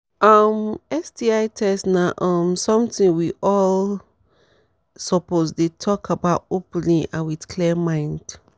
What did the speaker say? um sti test na um something we all um suppose dey talk about openly and with clear mind